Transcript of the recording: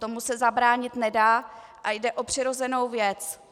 Tomu se zabránit nedá a jde o přirozenou věc.